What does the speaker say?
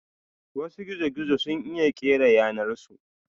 Wasu gizo-gizo sun iya kera yanar su.